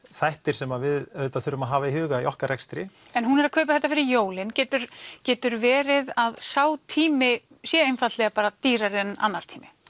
þættir sem við þurfum að hafa í huga í okkar rekstri en hún er að kaupa þetta fyrir jólin getur getur verið að sá tími sé einfaldlega bara dýrari en annar tími